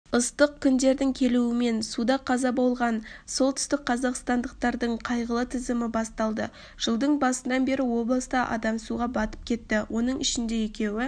ыстық күндердің келуімен суда қаза болған солтүстікқазақстандықтардың қайғылы тізімі басталады жылдың басынан бері облыста адам суға батып кетті оның ішінде екеуі